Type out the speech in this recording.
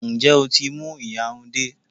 Ǹjẹ́ o tí mú ìyarun dé?